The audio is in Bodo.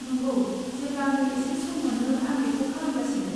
नंगौ, जेब्लानो एसे सम मोनो आं बेखौ खालामगासिनो।